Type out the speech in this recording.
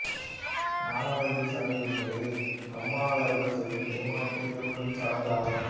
நாகவல்லி சடங்கு என்பது கம்மாளர்கள் செய்யும் திருமணத்தில் இடம்பெறும் சடங்கு ஆகும்